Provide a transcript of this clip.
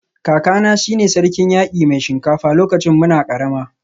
Kakana shi ne Sarkin Yaki Mai Shinkafa lokacin muna karama